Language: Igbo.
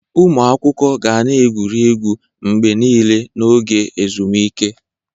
Ụmụ akwụkwọ ga na-egwu egwuregwu mgbe niile n'oge ezumike